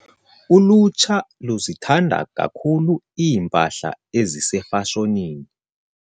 Ulutsha luzithanda kakhulu iimpahla ezisefashonini.